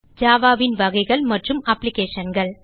Java ன் வகைகள் மற்றும் applicationகள்